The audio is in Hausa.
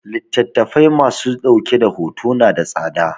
Littattafai ma su dauke da hoto na da tsada